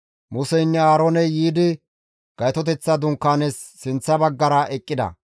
Museynne Aarooney yiidi Gaytoteththa Dunkaanaas sinththa baggara eqqida.